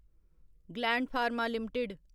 gland Pharma limited